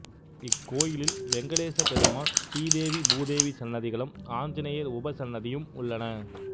இக்கோயிலில் வெங்கடேச பெருமாள் ஸ்ரீதேவி பூதேவி சன்னதிகளும் ஆஞ்சநேயர் உபசன்னதியும் உள்ளன